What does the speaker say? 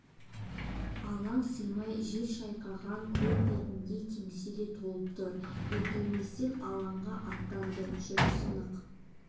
алаң сыймай жел шайқаған көл бетіндей теңселе толқып тұр іркілместен алға аттады жүрісі нық